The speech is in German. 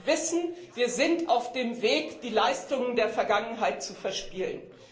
Wir wissen, wir sind auf dem Weg die Leistungen der Vergangenheit zu verspielen.